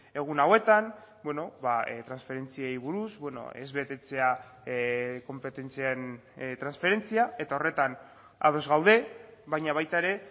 egun hauetan transferentziei buruz ez betetzea konpetentzien transferentzia eta horretan ados gaude baina baita ere